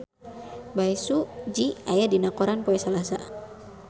Bae Su Ji aya dina koran poe Salasa